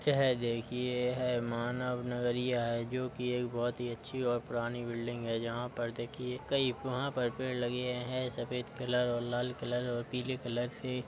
यह देखिये ये है मानव नगरिया है जो कि एक बहोत ही अच्छी और पुरानी बिल्डिंग है जहाँ पर देखिये कई वहाँ पर पेड़ लगे हैं सफ़ेद कलर और लाल कलर और पीले कलर से --